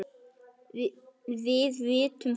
Við vitum þetta öll.